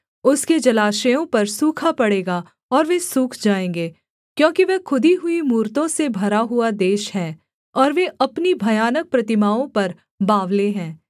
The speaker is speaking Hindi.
उसके जलाशयों पर सूखा पड़ेगा और वे सूख जाएँगे क्योंकि वह खुदी हुई मूरतों से भरा हुआ देश है और वे अपनी भयानक प्रतिमाओं पर बावले हैं